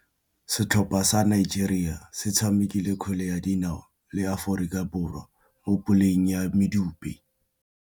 Setlhopha sa Nigeria se tshamekile kgwele ya dinaô le Aforika Borwa mo puleng ya medupe.